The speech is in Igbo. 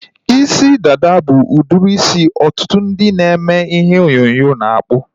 Isi dada bụ udiri isi ọtụtụ ndị na-eme ihe onyonyo na-akpụ